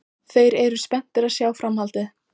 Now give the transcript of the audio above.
Þeir eru spenntir að sjá framhaldið.